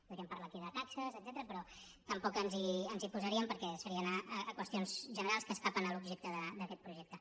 podríem parlar aquí de taxes etcètera però tampoc ens hi posaríem perquè seria anar a qüestions generals que s’escapen de l’objecte d’aquest projecte